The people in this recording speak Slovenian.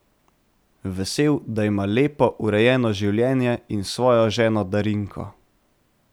Vesel, da ima lepo, urejeno življenje in svojo ženo Darinko.